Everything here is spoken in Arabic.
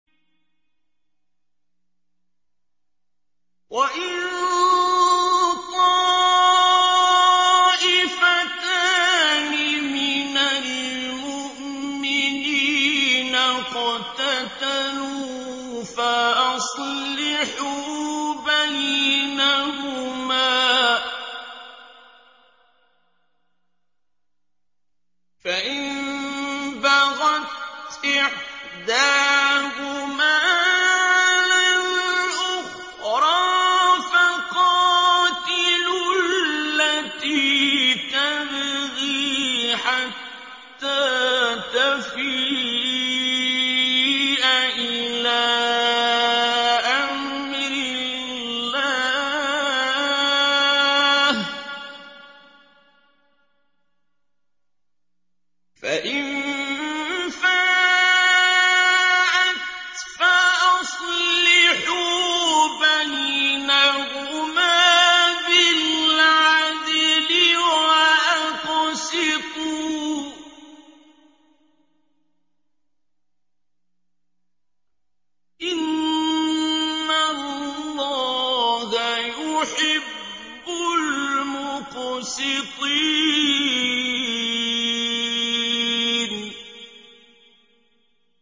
وَإِن طَائِفَتَانِ مِنَ الْمُؤْمِنِينَ اقْتَتَلُوا فَأَصْلِحُوا بَيْنَهُمَا ۖ فَإِن بَغَتْ إِحْدَاهُمَا عَلَى الْأُخْرَىٰ فَقَاتِلُوا الَّتِي تَبْغِي حَتَّىٰ تَفِيءَ إِلَىٰ أَمْرِ اللَّهِ ۚ فَإِن فَاءَتْ فَأَصْلِحُوا بَيْنَهُمَا بِالْعَدْلِ وَأَقْسِطُوا ۖ إِنَّ اللَّهَ يُحِبُّ الْمُقْسِطِينَ